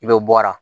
I bɛ bɔ ara